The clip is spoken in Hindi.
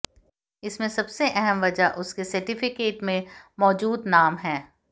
इसमें सबसे अहम वजह उसके सर्टिफिकेट में मौजूद नाम है